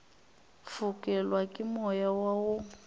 fokelwa ke moya wa go